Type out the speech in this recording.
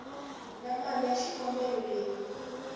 na mali ya xikombelo leyi